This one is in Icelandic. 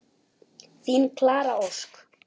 Þín Klara Ósk.